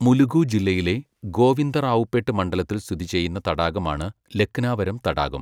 മുലുഗു ജില്ലയിലെ, ഗോവിന്ദറാവുപേട്ട് മണ്ഡലത്തിൽ സ്ഥിതി ചെയ്യുന്ന തടാകമാണ്, ലക്നാവരം തടാകം.